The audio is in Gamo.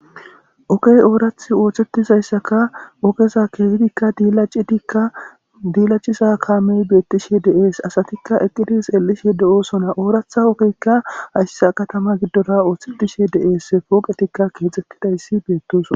Ogey oorathi oosetizayssaka ogeza keehidikka diilacidikka diilaciza kaamey beettishi de7ees asatikka eqqidis xelishe de7oosona ooratha ogekka hayssa katama giddora oosetishe de7es pooqetikka keexxettidayssi beettosona.